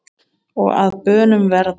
og að bönum verða